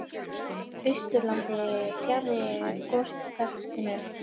Austurlandi, fjarri gosbeltinu.